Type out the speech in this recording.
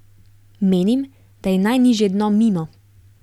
Menim, da je najnižje dno mimo.